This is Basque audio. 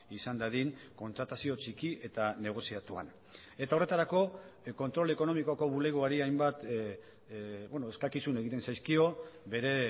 izan dadin kontratazio txiki eta negoziatuan eta horretarako kontrol ekonomikoko bulegoari hainbat eskakizun egiten zaizkio bere